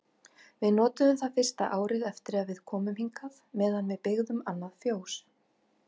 Við notuðum það fyrsta árið eftir að við komum hingað meðan við byggðum annað fjós.